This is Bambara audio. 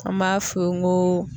An m'a f'u ye n go